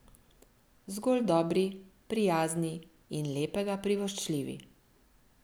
Zgolj dobri, prijazni in lepega privoščljivi.